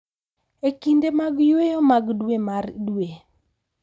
E kinde mag yweyo mag dwe mar dwe,